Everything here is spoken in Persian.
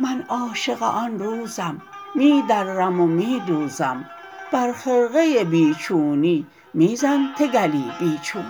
من عاشق آن روزم می درم و می دوزم بر خرقه بی چونی می زن تگلی بی چون